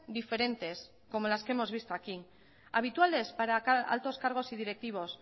diferentes como las que hemos visto aquí habituales para altos cargos y directivos